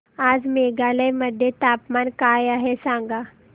आज मेघालय मध्ये तापमान काय आहे सांगा